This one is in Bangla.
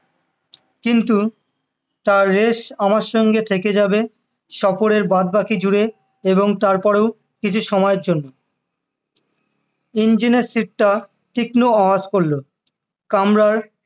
কিন্তু তার রেস আমার সঙ্গে থেকে যাবে সফরের বাদ বাকি জুড়েও এবং তারপরেও কিছু সময়ের জন্য engine এর টা তীক্ষ্ণ আওয়াজ করলো কামরার